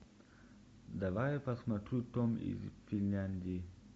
давай я посмотрю том из финляндии